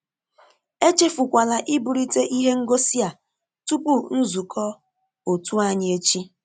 Echefukwala ịbulite ìhè ngosị a tupu nzukọ òtù anyị echi.